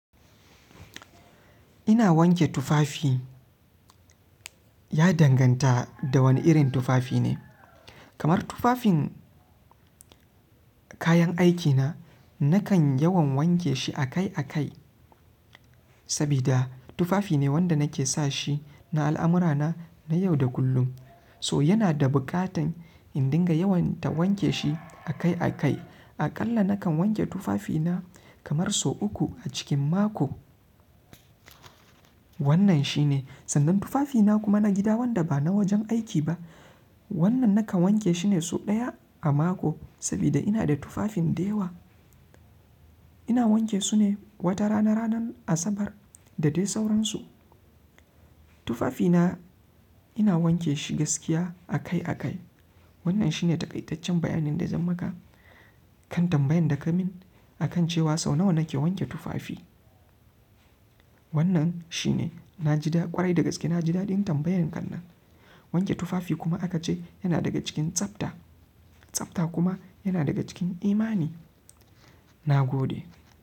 Ina wanke tufafi, ya danganta da wane irin tufafi ne. Kamar tufafin kayan aikina, nakan yawan wanke shi akai akai. Sabida tufafi ne wanda nake sa shi na al'amura na, na yau da kullum. To yana da buƙatan in dinga yawaita wanke shi akai akai. A ƙalla nakan wanke tufafina kamar sau uku a cikin mako. Wannan shi ne. Sannan tufafina kuma na gida wanda ba na wajen aiki ba. Wannan nakan wanke shi ne sau ɗaya a mako, sabida ina da tufafin da yawa. Ina wanke su ne wata rana, ranar Asabar da dai sauransu. Tufafina ina wanke shi gaskiya akai akai. Wannan shi ne taƙaitaccen bayanin da zan maka kan tambayan da ka min akan cewa sau nawa nake wanke tufafi. Wannan shi ne. Na ji daɗi ƙwarai da gaske, na ji daɗin tambayan kan nan. Wanke tufafi kuma aka ce yana daga cikin tsafta. Tsafta kuma yana daga cikin imani. Na gode.